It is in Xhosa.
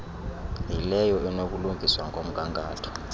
yileyo enokulungiswa ngomgangatho